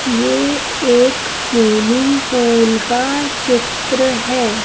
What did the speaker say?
ये एक swimming pool का चित्र है।